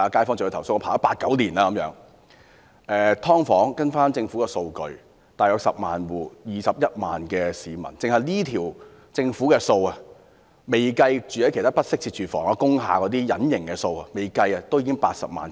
"劏房"方面，根據政府的數據，大約有10萬戶，共21萬名市民，單是政府這項數字，未計及其他居住在不適切住房如工廈這些隱形數字，也有80萬名市民......